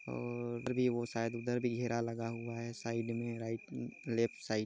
और भी वो शायद उधर भी घेरा लगा हुआ है साइड में राइट लेफ्ट साइड ।